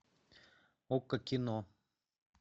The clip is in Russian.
окко кино